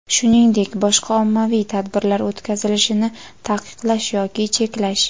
shuningdek boshqa ommaviy tadbirlar o‘tkazilishini taqiqlash yoki cheklash;.